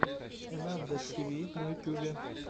энандэс тиви на ютубе